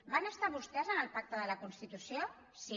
van estar vostès en el pacte de la constitució sí